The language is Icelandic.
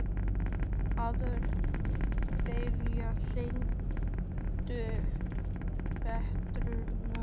Aðalberg, hringdu í Petrónellu.